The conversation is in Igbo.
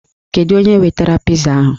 Kedu onye wetara piza ahụ?